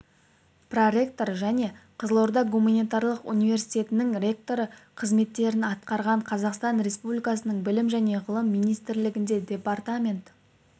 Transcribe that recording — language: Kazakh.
проректор және қызылорда гуманитарлық университетінің ректоры қызметтерін атқарған қазақстан республикасының білім және ғылыми министрлігінде департамент